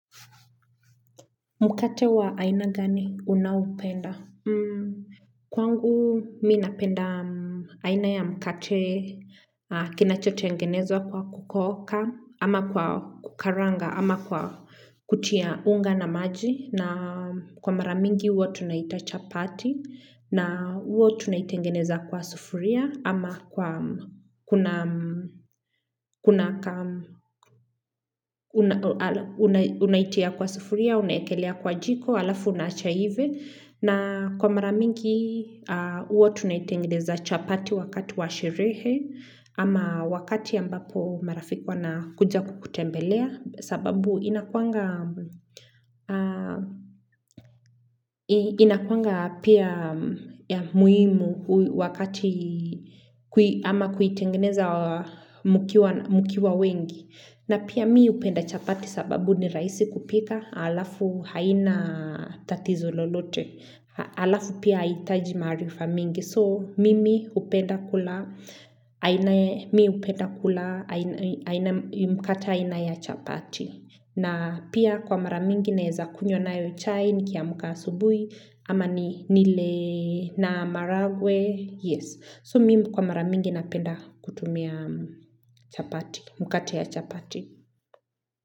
Mkate wa aina gani unaoupenda? Kwangu minapenda aina ya mkate kinachotengenezwa kwa kukoka ama kwa kukaranga ama kwa kutia unga na maji na kwa maramingi huwa tunaiitachapati na huo tunaitengeneza kwa sufuria ama kwa unaitia kwa sufuria, unaekelea kwa jiko alafu unaacha iive na kwa maramingi huwa tunaitengeneza chapati wakati washerehe ama wakati ambako marafiki wa na kuja kukutembelea sababu inakuanga pia muhimu wakati ama kuitengeneza mkiwa wengi. Na pia mi hupenda chapati sababu ni rahisi kupika halafu haina tatizo lolote alafu pia haitaji maarifa mingi so mimi hupenda kula mkate aina ya chapati. Na pia kwa maramingi naeza kunywa nayo chai nikia mka asubuhi ama ni nile na maharagwe. Yes. So mimi kwa maramingi napenda kutumia chapati. Mkate ya chapati.